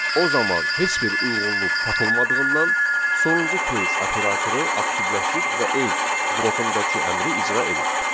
O zaman heç bir uyğunluq tapılmadığından sonuncu case operatoru aktivləşir və öz blokundakı əmri icra edir.